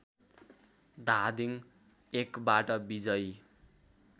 धादिङ १बाट विजयी